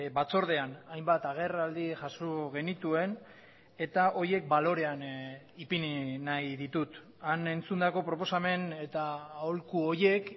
batzordean hainbat agerraldi jaso genituen eta horiek balorean ipini nahi ditut han entzundako proposamen eta aholku horiek